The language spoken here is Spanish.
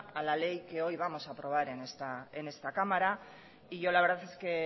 a la ley que hoy vamos a aprobar en esta cámara y yo la verdad es que